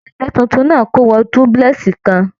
Ìdílé títún náà tí kò wọ dúpúlẹ́sì kàn.